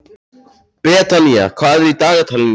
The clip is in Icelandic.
Betanía, hvað er í dagatalinu í dag?